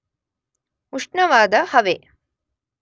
ಉಷ್ಣವಾದ ಹವೆ